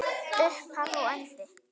Upphaf og endi.